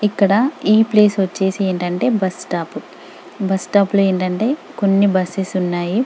ఇక్కడ ఈ ప్లేస్ వచ్చేసి ఏంటంటే ఒక బస్టాప్ బస్టాప్ లో ఏంటంటే కొన్ని బస్సెస్ ఉన్నాయి